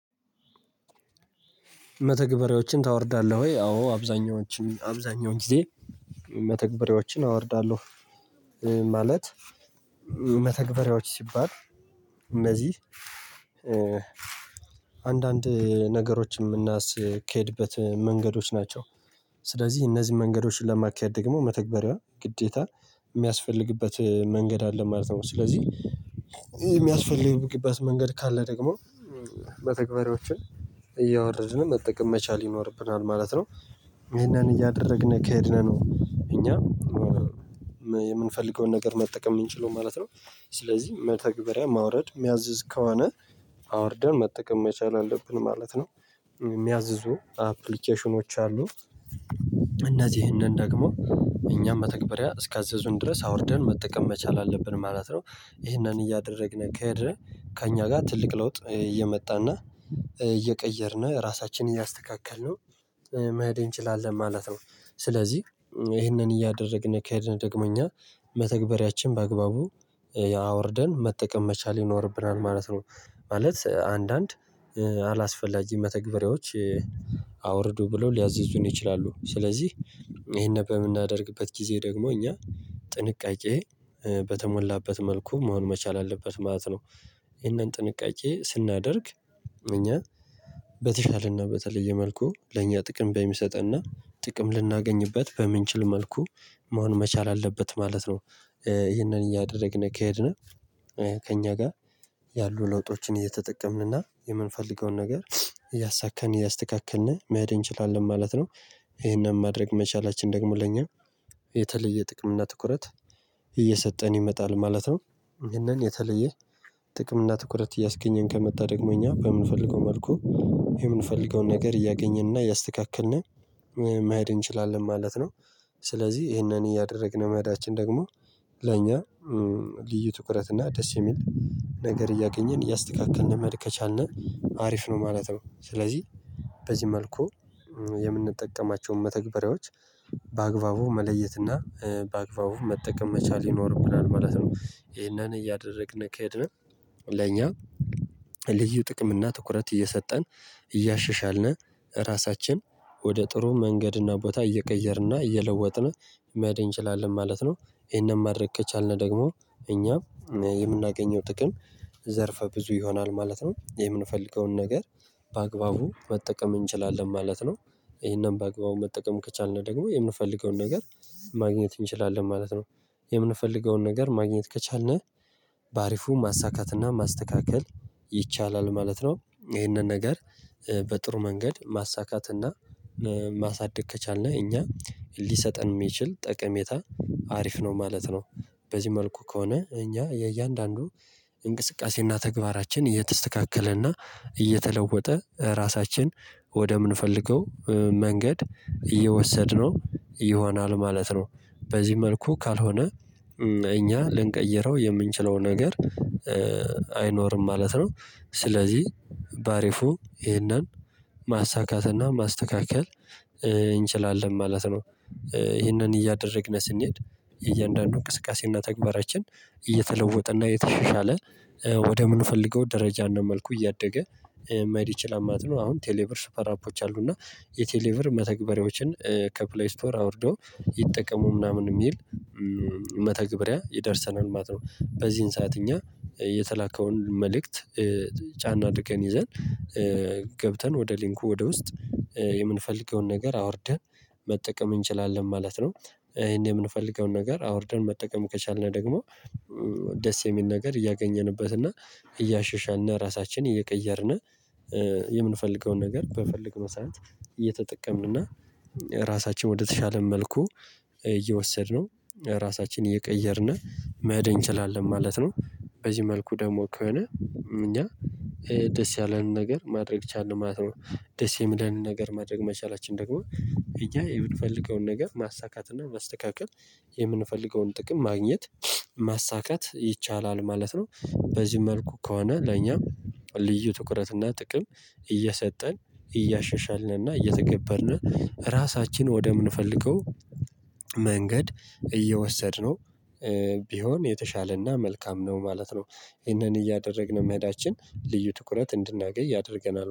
መተግበሪያዎችን ታወርዳለህ ወይ? አዎ አብዛኛዎችን አብዛኛውን ጊዜ መተግበሪያዎችን አወርዳለሁ ማለት መተግበሪያዎች ሲባል እነዚህ አንዳንድ ነገሮችን የምናስኬድበት መንገዶች ናቸው። ስለዚህ እነዚህን መንገዶች ለማካሄድ ደግሞ መተግበሪያ ግዴታ የሚያስፈልግበት መንገድ አለ ማለት ነው። ስለዚህ የሚያስፈልግበት መንገድ ካለ ደግሞ መተግበሪዎችን እያወረድን መጠቀም መቻል ይኖርብናል ማለት ነው። ይሄንን እያደረግን ከሄድን ነው እኛ የምንፈልገውን ነገር መጠቀም የምንችለው ማለት ነው። ስለዚህ መተግበሪያ ማውረድ የሚያዝዝ ከሆነ አውርደን መጠቀም መቻል አለብን ማለት ነው። የሚያዝዙ አፕሊኬሽኖች አሉ። እነዚህንን ደግሞ እኛም መተግባሪያ እስካዘዙን ድረስ አውርደን መጠቀም መቻል አለብን ማለት ነው። ይህንን እያደረግን ከሄድን ከእኛ ጋር ትልቅ ለውጥ እየመጣና እየቀየርን ራሳችንን እያስተካከልን መሄዴ እንችላለን ማለት ነው። ስለዚህ ይሄንን እያደረግን ከሄድን ደግሞ እኛ መተግበሪያችን በአግባቡ ያወርደን መጠቀም መቻል ይኖርብናል ማለት ነው። ማለት አንዳንድ አላስፈላጊ መተግበሪያዎች አውርዱ ብለው ሊያዝዙን ይችላሉ። ስለዚህ ይሄን በምናደርግበት ጊዜ ደግሞ እኛ ጥንቃቄ በተሞላበት መልኩ መሆን መቻል አለበት ማለት ነው። ይሄንን ጥንቃቄ ስናደርግ እኛ በተሻለና በተለየ መልኩ ለእኛ ጥቅም በሚሰጠንና ጥቅም ልናገኝበት በምንችል መልኩ መሆን መቻል አለበት ማለት ነው። ይሄንን እያደረግን ከሄድን ከእኛ ጋር ያሉ ለውጦችን እየተጠቀምንና የምንፈልገውን ነገር እያሳካን እያስተካከልን መሄድ እንችላለን ማለት ነው። ይሄንን ማድረግ መቻላችን ደግሞ ለኛ የተለየ ጥቅም እና ትኩረት እየሰጠን ይመጣል ማለት ነው። ይሄንን የተለየ ጥቅም እና ትኩረት እያስገኘን ከመጣ ደግሞ እኛ በምንፈልገው መልኩ የምንፈልገውን ነገር እያገኘንና እያስተካከልን መሄድ እንችላለን ማለት ነው። ስለዚህ ይሄንን እያደረግን መሄዳችን ደግሞ ለኛ ልዩ ትኩረት እና ደስ የሚል ነገር እያገኘን እያስተካከልን መሄድ ከቻልን አሪፍ ነው ማለት ነው። ስለዚህ በዚህ መልኩ የምንጠቀማቸውን መተግበሪያዎች በአግባቡ መለየትና በአግባቡ መጠቀም መቻል ይኖርብናል ማለት ነው። ይሄንን እያደረግን ከሄድን ለኛ ልዩ ጥቅም እና ትኩረት እየሰጠን እያሸሻልን ራሳችን ወደ ጥሩ መንገድና ቦታ እየቀየርንና እየለወጥን መሄን እንችላለን ማለት ነው። ይሄንን ማድረግ ከቻልን ደግሞ እኛ የምናገኘው ጥቅም ዘርፈ ብዙ ይሆናል ማለት ነው። የምንፈልገውን ነገር በአግባቡ መጠቀም እንችላለን ማለት ነው። ይሄንን በአግባቡ መጠቀም ከቻልን ደግሞ የምንፈልገውን ነገር ማግኘት እንችላለን ማለት ነው። የምንፈልገውን ነገር ማግኘት ከቻልን በአሪፉ ማሳካትና ማስተካከል ይቻላል ማለት ነው። ይህንን ነገር በጥሩ መንገድ ማሳካት እና ማሳደግ ከቻልን እኛ ሊሰጠን የሚችል ጠቀሜታ አሪፍ ነው ማለት ነው። በዚህ መልኩ ከሆነ እኛ የእያንዳንዱ እንቅስቃሴና ተግባራችን እየተስተካከለና እየተለወጠ ራሳችን ወደምንፈልገው መንገድ እየወሰድነው ይሆናል ማለት ነው። በዚህ መልኩ ካልሆነ እኛ ልንቀይረው የምንችለው ነገር አይኖርም ማለት ነው። ስለዚህ ባሪፉ ይሄንን ማሳካትና ማስተካከል እንችላለን ማለት ነው። ይህንን እያደረግን ስንሄድ እያንዳንዱ እንቅስቃሴና ተግባራችን እየተለወጠ እና እየተሻሻለ ወደ ምንፈልገው ደረጃና መልኩ እያደገ መሄድ ይችላል ማለት ነው። አሁን ቴሌብር ሱፐር አፖች አሉ እና የቴሌብር መተግበሪያዎችን ከፕሌይ ስቶር አውርደው ይጠቀሙ ምናምን የሚል መተግበሪያ ይደርሰናል ማለት ነው። በዚህን ሰዓት እኛ የተላከውን መልእክት ጫን አድርገን ይዘን ገብተን ወደ ሊንኩ ወደ ውስጥ የምንፈልገውን ነገር አውርደን መጠቀም እንችላለን ማለት ነው። ይሄን የምንፈልገውን ነገር አውርደን መጠቀም ከቻልን ደግሞ ደስ የሚል ነገር እያገኘንበት እና እያሸሻልን እና ራሳችንን እየቀየርን የምንፈልገውን ነገር በፈለግነው ሰዓት እየተጠቀምን እና ራሳችን ወደተሻለን መልኩ እየወሰድነው ራሳችን እየቀየርን መሄድ እንችላለን ማለት ነው። በዚህ መልኩ ደግሞ ከሆነ እኛ ደስ ያለንን ነገር ማድረግ ቻልን ማለት ነው። ደስ የሚለንን ነገር ማድረግ መቻላችን ደግሞ እኛ የምንፈልገውን ነገር ማሳካት እና ማስተካከል የምንፈልገውን ጥቅም ማግኘት ማሳካት ይቻላል ማለት ነው። በዚህ መልኩ ከሆነ ለኛ ልዩ ትኩረትና ጥቅም እየሰጠን እያሸሻልንና እየተገበርን ራሳችን ወደምንፈልገው መንገድ እየወሰድነው ቢሆን የተሻለና መልካም ነው ማለት ነው። ይህንን እያደረግን መሄዳችን ልዩ ትኩረት እንድናገኝ ያደርገናል